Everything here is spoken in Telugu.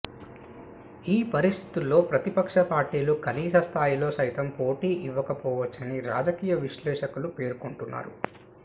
ఈ పరిస్థితుల్లో ప్రతిపక్ష పార్టీలు కనీస స్థాయిలో సైతం పోటీ ఇవ్వకపోవచ్చని రాజకీయ విశ్లేషకులు పేర్కొంటున్నారు